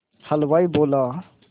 हलवाई बोला